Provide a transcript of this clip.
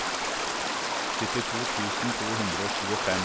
syttito tusen to hundre og tjuefem